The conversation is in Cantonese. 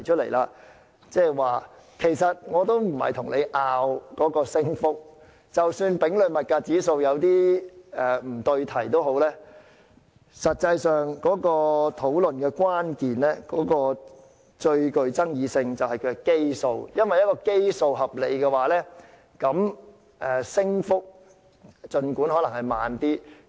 我不是想爭拗增幅的多少，即使以丙類消費物價指數作為基礎有不對題之處，但討論的關鍵或最具爭議性的實際上是基數，因為如果基數合理，儘管升幅稍低......